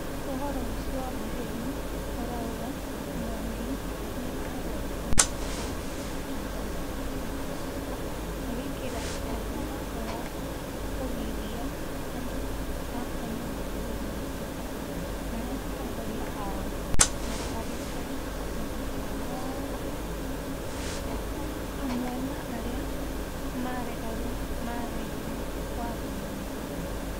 ũhoro ũcio wa maheni ũraũga Mwangi nĩagwetire Macharia ta "Njamba ya Afrika", agĩkĩra thaĩni watho wa kũgiria andũ a kuma mabũrũri ma Afrika marĩa atongoria ao matareka ũndũ o wothe hamwe na arĩa maregeire wathani-inĩ